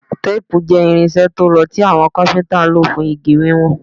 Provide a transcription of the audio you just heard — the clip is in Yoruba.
Teepu jẹ irinṣẹ to rọ ti awọn Káfíntà lo fun igi wiwọn